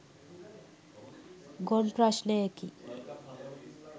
ගොන් ප්‍රශ්නයකි